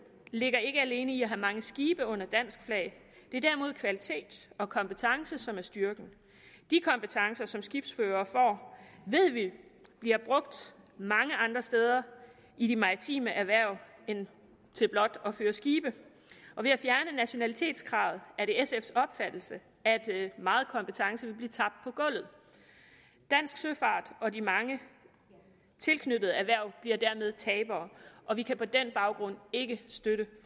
ligger ikke alene i at have mange skibe under dansk flag det er derimod kvalitet og kompetence som er styrken de kompetencer som skibsførere får ved vi bliver brugt mange andre steder i de maritime erhverv end til blot at føre skibe og ved at fjerne nationalitetskravet er det sfs opfattelse at meget kompetence vil blive tabt på gulvet dansk søfart og de mange tilknyttede erhverv bliver dermed tabere og vi kan på den baggrund ikke støtte